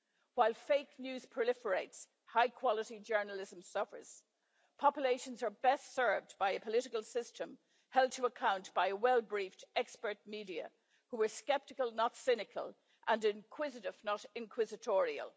While fake news proliferates, high quality journalism suffers. Populations are best served by a political system held to account by a well briefed, expert media who are sceptical not cynical, and inquisitive not inquisitorial.